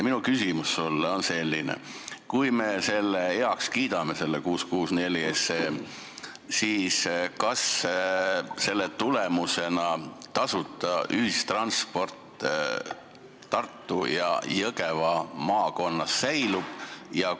Minu küsimus sulle on selline: kui me selle eelnõu 664 heaks kiidame, siis kas selle tõttu tasuta ühistransport Tartu ja Jõgeva maakonnas säilib?